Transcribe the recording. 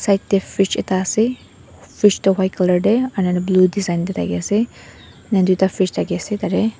side tae fridge ekta ase fridge toh white colour tae blue design tae thakiase ena tuita fridge thakiase tatae.